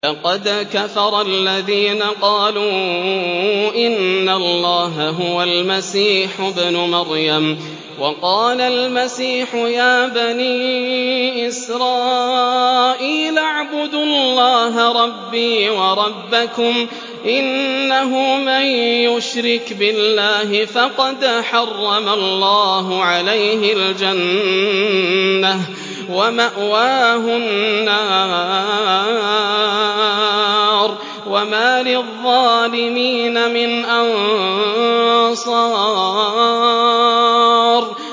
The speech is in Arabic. لَقَدْ كَفَرَ الَّذِينَ قَالُوا إِنَّ اللَّهَ هُوَ الْمَسِيحُ ابْنُ مَرْيَمَ ۖ وَقَالَ الْمَسِيحُ يَا بَنِي إِسْرَائِيلَ اعْبُدُوا اللَّهَ رَبِّي وَرَبَّكُمْ ۖ إِنَّهُ مَن يُشْرِكْ بِاللَّهِ فَقَدْ حَرَّمَ اللَّهُ عَلَيْهِ الْجَنَّةَ وَمَأْوَاهُ النَّارُ ۖ وَمَا لِلظَّالِمِينَ مِنْ أَنصَارٍ